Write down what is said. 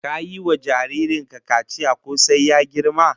Ka yi wa jarrin ka kaciya ko sai ya girma?